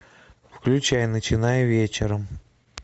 включай начинай вечером